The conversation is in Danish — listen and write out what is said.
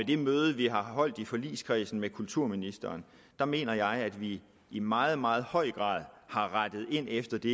det møde vi har holdt i forligskredsen med kulturministeren mener jeg at vi i meget meget høj grad har rettet ind efter de